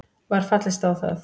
Var fallist á það